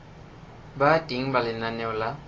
ba teng ha lenaneo la